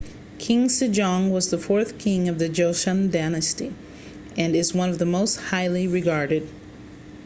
king sejong was the fourth king of the joseon dynasty and is one of the most highly regarded